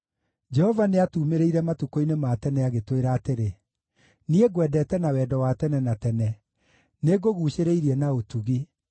Jehova nĩatuumĩrĩire matukũ-inĩ ma tene, agĩtwĩra atĩrĩ: “Niĩ ngwendete na wendo wa tene na tene; nĩngũguucĩrĩirie na ũtugi.